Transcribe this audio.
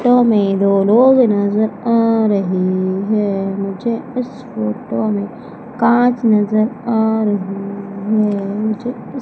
to मैं दो लोग नजर आ रहे है मुझे इस फोटो में कांच नजर आ रही है मुझे--